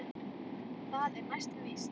Það er næsta víst.